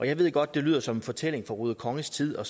jeg ved godt det lyder som en fortælling fra ruder konges tid og